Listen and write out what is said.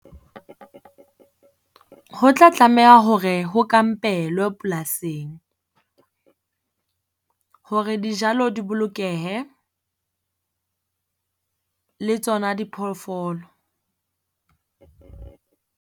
Ho tla tlameha hore ho kampelwe polasing hore dijalo di bolokehe le tsona diphoofolo.